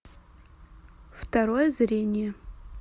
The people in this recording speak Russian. второе зрение